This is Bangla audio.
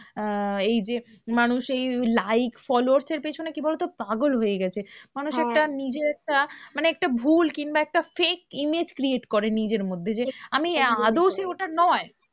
আহ এই যে মানুষ এই like, followers এর পেছনে কি বলো তো? পাগল হয়ে গেছে, মানুষ একটা নিজে একটা মানে একটা ভুল কিংবা একটা fake image create করে নিজের মধ্যে যে আমি আদেও ওটা নয়।